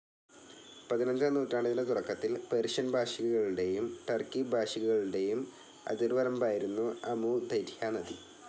പതിനഞ്ചാം നൂറ്റാണ്ടിൻ്റെ തുടക്കത്തിൽ, പേർഷ്യൻഭാഷികളുടെയും ടർക്കി ഭാഷികളുടെയും അതിർവരമ്പായിരുന്നു അമു ദര്യാ നദി.